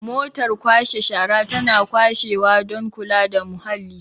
motar kwashe shara tana kwashewa don kula da muhalli